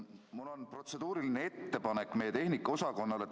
Mul on protseduuriline ettepanek meie tehnikaosakonnale.